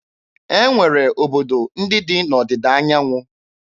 E nwere obodo ndị dị n'Ọdịda anyanwụ.